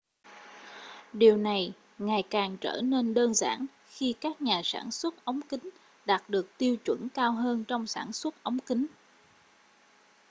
điều này ngày càng trở nên đơn giản khi các nhà sản xuất ống kính đạt được tiêu chuẩn cao hơn trong sản xuất ống kính